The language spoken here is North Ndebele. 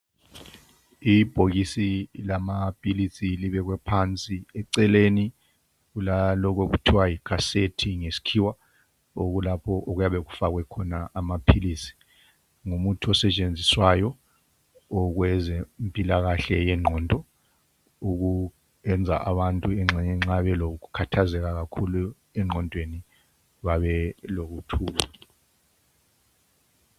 Ibhokisi lamaphilisi libekwe phansi eceleni kwalokho okuthiwa yikhasethi ngesikhiwa okulapho kuyabe kufakwe khona amaphilisi. Ngumuthi osetshenziswayo wokwezempilakahle yengqondo ukwenza abantu engxenye nxa belokukhathazeka engqondweni babe lokuthula.